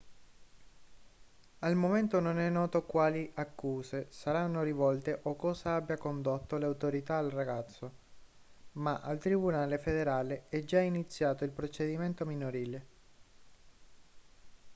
al momento non è noto quali accuse saranno rivolte o cosa abbia condotto le autorità al ragazzo ma al tribunale federale è già iniziato il procedimento minorile